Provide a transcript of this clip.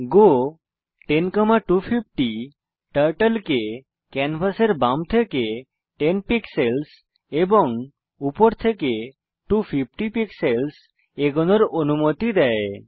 গো 10250 turtle কে ক্যানভাসের বাম থেকে 10 পিক্সেলস এবং উপর থেকে 250 পিক্সেলস এগোনোর অনুমতি দেয়